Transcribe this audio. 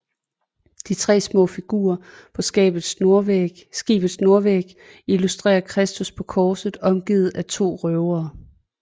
De tre små figurer på skibets nordvæg illustrerer Kristus på korset omgivet af to røvere